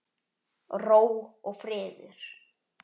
Ró og friður.